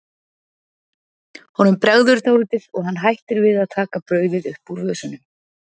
Honum bregður dálítið og hann hættir við að taka brauðið upp úr vösunum.